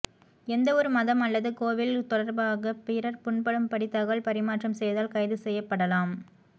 எந்தவொரு மதம் அல்லது கோவில் தொடர்பாக பிறர் புண்படும் படி தகவல் பரிமாற்றம் செய்தால் கைது செய்யப்படலாம்